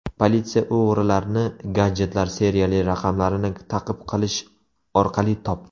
Politsiya o‘g‘rilarni gadjetlar seriyali raqamlarini ta’qib qilish orqali topdi.